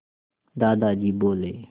दादाजी बोले